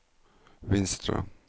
Vinstra